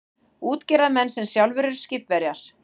Útgerðarmenn sem sjálfir eru skipverjar.